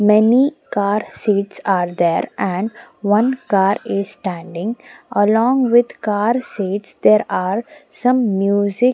many car seats are there and one car is standing along with car seats there are some music.